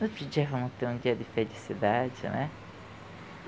No outro dia vamos ter um dia de felicidade, né?